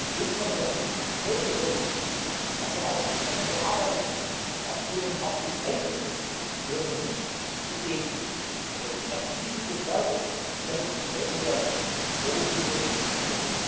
Also was im Grunde genommen der Pistenpflege unterliegt, was ja auch entsprechend bearbeitet wird, was zunehmend auch beschneit wird, gehört für mich zu dem Erschließen des Berges und damit zum Schwellenwert notwendigerweise hinzu.